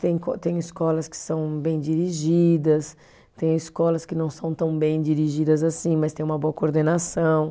Tem co, tem escolas que são bem dirigidas, tem escolas que não são tão bem dirigidas assim, mas tem uma boa coordenação.